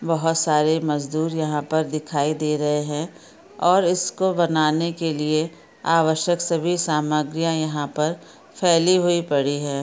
बोहोत सारे मजदूर यहाँ पर दिखाई दे रहे है और इसको बनाने के लिए आवश्यक सभी सामग्रियाँ यहाँ पर फैली हुई पड़ी है।